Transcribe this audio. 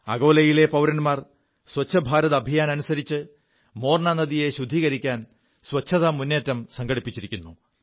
അകോലയിലെ പൌരന്മാർ സ്വച്ഛ ഭാരത് അഭിയാൻ അനുസരിച്ച് മോർനാ നദിയെ ശുദ്ധീകരിക്കാൻ ശുചിത്വ മുറ്റേം സംഘടിപ്പിച്ചിരുു എെനിക്കറിയാൻ കഴിഞ്ഞു